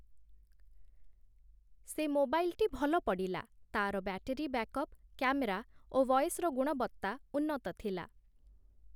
ସେ ମୋବାଇଲ୍‌ଟି ଭଲ ପଡ଼ିଲା, ତା'ର ବ୍ୟାଟେରୀ ବ୍ୟାକ୍‌ଅପ୍, କ୍ୟାମେରା ଓ ଭଏସ୍‌ର ଗୁଣବତ୍ତା ଉନ୍ନତ ଥିଲା ।